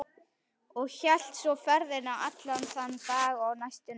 Og hélt svo ferðinni allan þann dag og næstu nótt.